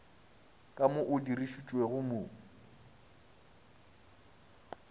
ka mo o dirišitšwego mo